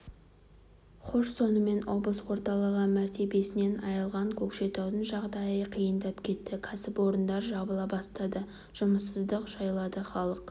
хош сонымен облыс орталығы мәртебесінен айрылған көкшетаудың жағдайы қиындап кетті кәсіпорындар жабыла бастады жұмыссыздық жайлады халық